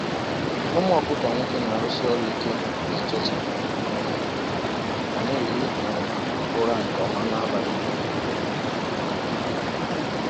“Ụmụ okuko nwoke na-arụsi ọrụ ike n’ụtụtụ um ma na-ehi um ụra nke ọma n’abalị.” um